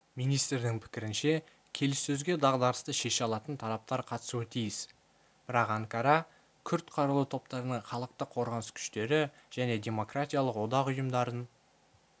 министрдің пікірінше келіссөзге дағдарысты шеше алатын тараптар қатысуы тиіс бірақ анкара күрд қарулы топтарының халықтық қорғаныс күштері және демократиялық одақ ұйымдарын